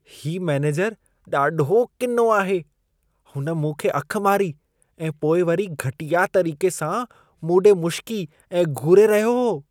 हीउ मेनेजर ॾाढो किनो आहे। हुन मूं खे अखि मारी ऐं पोइ वरी घटिया तरीक़े सां मूं ॾे मुशिकी ऐं घूरे रहियो हो।